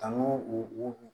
An y'o o